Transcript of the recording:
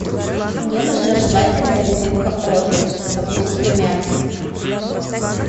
мне нужна жевательная резинка орбит со вкусом мяты